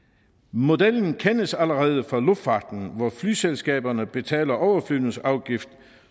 modellen kendes allerede fra luftfarten hvor flyselskaberne betaler overflyvningsafgift